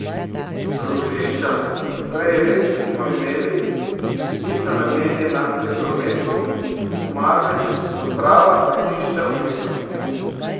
Krožišča, ki jih prej res nismo imeli, niso namenjena le prometu, marveč so prava svetišča umetnosti.